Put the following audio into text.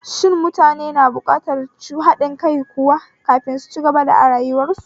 Shin mutane na buƙatar haɗin kai kuwa kafin su cibaga arayuwar su?